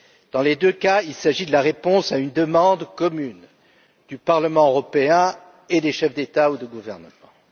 Dans les deux cas, il s'agit de la réponse à une demande commune du Parlement européen et des chefs d'État ou de gouvernement.